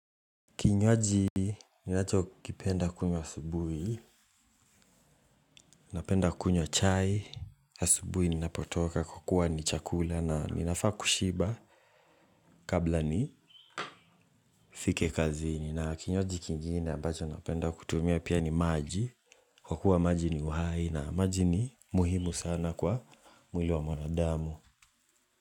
Kinywaji, ninacho kipenda kunywa asubuhi, napenda kunywa chai, asubuhi ninapotoka kwa kuwa ni chakula na ninafaa kushiba kabla nifike kazini na kinywaji kingine na ambacho napenda kutumia pia ni maji, kwa kuwa maji ni uhai na maji ni muhimu sana kwa mwili wa mwanadamu.